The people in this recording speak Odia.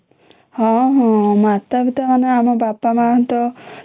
ହୁଁ ହଁ ମାତା ପିତା ମାନେ ଆମ ବାପା ମା ତ